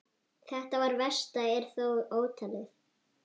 Það versta er þó ótalið.